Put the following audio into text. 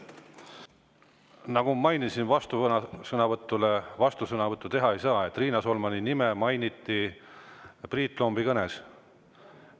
Nagu ma mainisin, vastusõnavõtu peale vastusõnavõttu teha ei saa, Riina Solmani nime mainiti Priit Lombi kõnes.